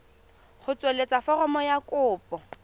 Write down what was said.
go tsweletsa foromo ya kopo